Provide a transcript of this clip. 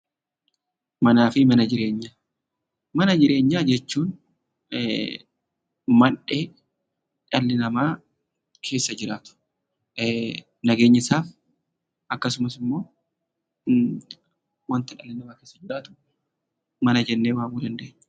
Mana jireenyaa jechuun mana dhalli namaa keessa jiraatu nageenyisaa akkasumas immoo wanta namni keessa jiraatu mana jedhama.